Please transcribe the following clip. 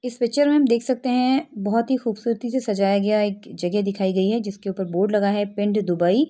इस पिक्चर में हम देख सकते हैं बहोत ही खूबसूरती से सजाया गया है एक जगह दिखाई गई है जिसके ऊपर बोर्ड लगा है। पिंड दुबई --